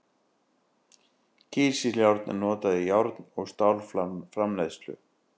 Kísiljárn er notað í járn- og stálframleiðslu.